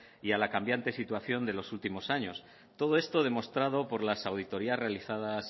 y a la cambiante situación de los últimos años todo esto demostrado por las auditorías realizadas